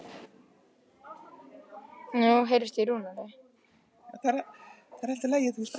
Sé mjaðmir hennar lyftast í hverju spori.